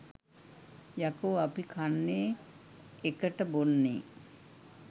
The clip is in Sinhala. යකෝ අපි කන්නේ එකට බොන්නේ